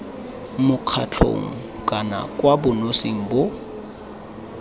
mokgatlhong kana kwa bonosing bo